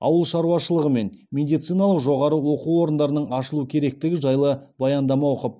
ауыл шаруашылығы мен медициналық жоғары оқу орындарының ашылу керектігі жайлы баяндама оқып